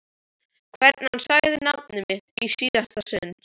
Hvernig hann sagði nafnið mitt í síðasta sinn.